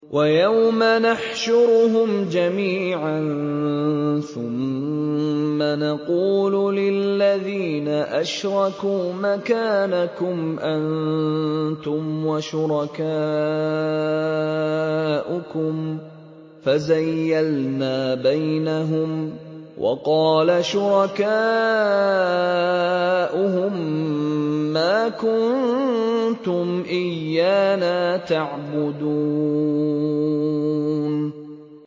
وَيَوْمَ نَحْشُرُهُمْ جَمِيعًا ثُمَّ نَقُولُ لِلَّذِينَ أَشْرَكُوا مَكَانَكُمْ أَنتُمْ وَشُرَكَاؤُكُمْ ۚ فَزَيَّلْنَا بَيْنَهُمْ ۖ وَقَالَ شُرَكَاؤُهُم مَّا كُنتُمْ إِيَّانَا تَعْبُدُونَ